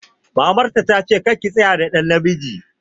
Mamar ta ta ce 'Kar ki tsaya da namiji'!